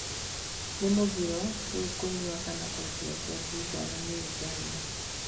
Nĩ mũgiro rĩu kũnyua kana kwendia njohi ngananie Uganda